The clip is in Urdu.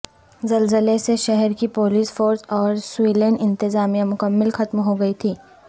زلزلے سے شہر کی پولیس فورس اور سویلین انتظامیہ مکمل ختم ہوگئی تھیں